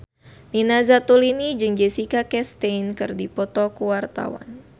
Nina Zatulini jeung Jessica Chastain keur dipoto ku wartawan